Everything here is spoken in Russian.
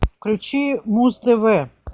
включи муз тв